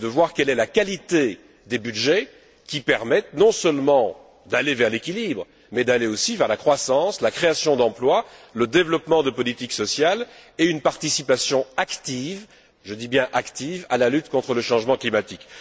Il s'agit de voir quelle est la qualité des budgets qui permette non seulement d'aller vers l'équilibre mais d'aller aussi vers la croissance, la création d'emplois, le développement de politiques sociales et une participation active, je dis bien active, à la lutte contre le changement climatique.